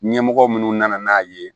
Ɲɛmɔgɔ minnu nana n'a ye